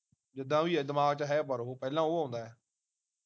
ਜਿੱਦਾ ਵੀ ਆ ਦਿਮਾਗ ਵਿਚ ਹੈ ਪਰ ਉਹ ਪਹਿਲਾਂ ਉਹ ਆਉਂਦਾ ਹੈ